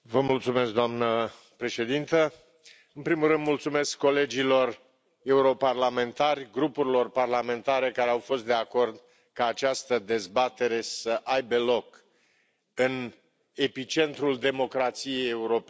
Doamnă președintă, în primul rând mulțumesc colegilor europarlamentari, grupurilor parlamentare care au fost de acord ca această dezbatere să aibă loc în epicentrul democrației europene.